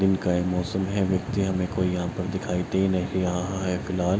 दिन का ये मौसम है। व्यक्ति हमें कोई यहा पर दिखाई दे नहीं रहा है फिलहाल।